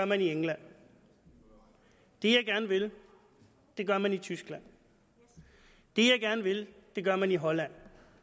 man i england det jeg gerne vil gør man i tyskland det jeg gerne vil gør man i holland